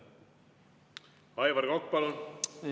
Aivar Kokk, palun!